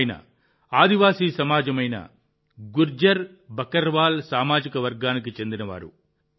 ఆయన ఆదివాసీ సమాజమైన గుజ్జర్ బకర్వాల్ సామాజిక వర్గానికి చెందినవారు